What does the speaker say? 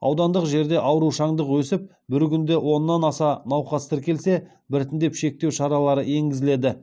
аудандық жерде аурушаңдық өсіп бір күнде оннан аса науқас тіркелсе біртіндеп шектеу шаралары енгізіледі